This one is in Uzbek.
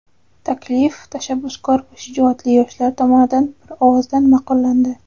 Taklif tashabbuskor va shijoatli yoshlar tomonidan bir ovozdan maʼqullandi.